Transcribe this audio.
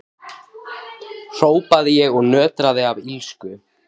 hrópaði ég og nötraði af illsku.